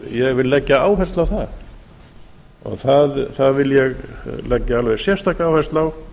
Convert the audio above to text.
ég vil leggja áherslu á það það vil ég leggja alveg sérstaka áherslu á